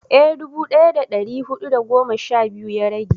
eh dubu daya da dari hudu da goma sha biyu ya rage